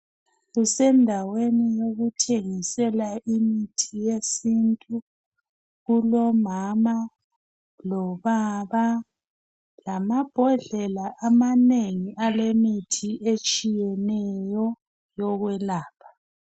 Kusendaweni yokuthengisela imithi yesintu, kulomama lobaba lamabhodlela amanengi alemithi etshiyeneyo yokwelapha.